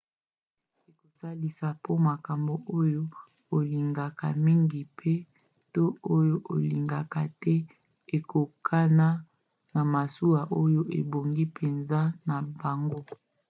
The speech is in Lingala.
ekosalisa po makambo oyo olingaka mingi pe/to oyo olingaka te ekokana na masuwa oyo ebongi mpenza na bango